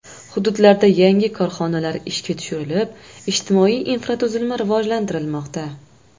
Hududlarda yangi korxonalar ishga tushirilib, ijtimoiy infratuzilma rivojlantirilmoqda.